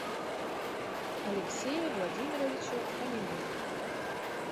алексее владимировиче фоминых